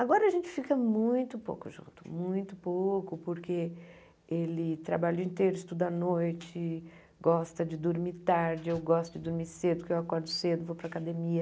Agora a gente fica muito pouco junto, muito pouco, porque ele trabalha o dia inteiro, estuda à noite, gosta de dormir tarde, eu gosto de dormir cedo, porque eu acordo cedo, vou para a academia.